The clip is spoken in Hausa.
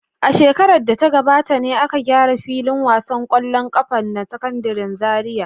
A shekarar da ta gabata ne aka gyara filin wasan ƙwallon ƙafa na Sakandaren Zariya.